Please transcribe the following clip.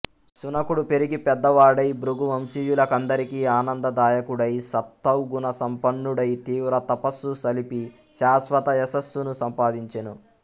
శునకుడు పెరిగి పెద్దవాడై భృగు వంశీయుల కందరికి ఆనందదాయకుడై సత్త్వగుణసంపన్నుడై తీవ్రతపస్సు సలిపి శాశ్వత యశస్సును సంపాదించెను